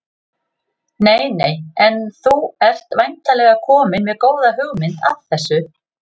Nei nei En þú ert væntanlega kominn með góða hugmynd að þessu?